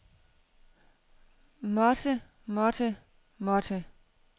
måtte måtte måtte